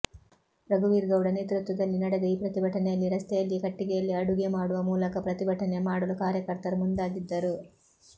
ರಘುವೀರ್ ಗೌಡ ನೇತೃತ್ವದಲ್ಲಿ ನಡೆದ ಈ ಪ್ರತಿಭಟನೆಯಲ್ಲಿ ರಸ್ತೆಯಲ್ಲಿಯೇ ಕಟ್ಟಿಗೆಯಲ್ಲಿ ಅಡುಗೆ ಮಾಡುವ ಮೂಲಕ ಪ್ರತಿಭಟನೆ ಮಾಡಲು ಕಾರ್ಯಕರ್ತರು ಮುಂದಾಗಿದ್ದರು